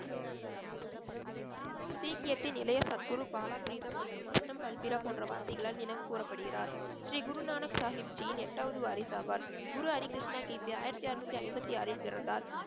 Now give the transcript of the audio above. சீக்கியத்தின் இளைய சத்குரு பாலா பீரிதம் மற்றும் அஸ்தம் பல்பிரா போன்ற வார்த்தைகளால் நினைவு கூறப்படுகிறார் ஸ்ரீ குருநானக் சாஹிப்ஜியின் எட்டாவது வாரிசாவார் குரு ஹரிகிருஷ்ணா கிபி ஆயிரத்தி அறுநூத்தி ஐம்பத்தி ஆறில் பிறந்தார்